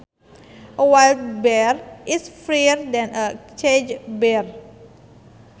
A wild bear is freer than a caged bear